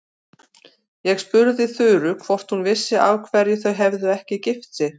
Ég spurði Þuru hvort hún vissi af hverju þau hefðu ekki gift sig.